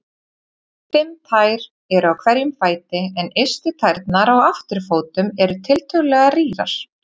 Fimm tær eru á hverjum fæti en ystu tærnar á afturfótum eru tiltölulega rýrar.